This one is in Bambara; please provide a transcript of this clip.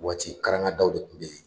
Waati karangadaw de kun bɛ yen